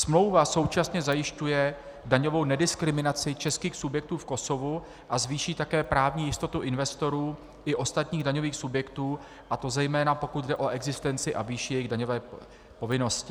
Smlouva současně zajišťuje daňovou nediskriminaci českých subjektů v Kosovu a zvýší také právní jistotu investorů i ostatních daňových subjektů, a to zejména pokud jde o existenci a výši jejich daňové povinnosti.